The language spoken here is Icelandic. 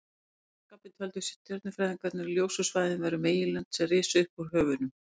Að sama skapi töldu stjörnufræðingarnir að ljósu svæðin væru meginlönd sem risu upp úr höfunum.